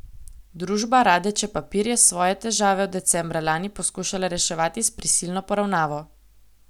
Družba Radeče Papir je svoje težave od decembra lani poskušala reševati s prisilno poravnavo.